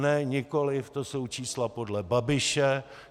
Ne nikoliv, to jsou čísla podle Babiše.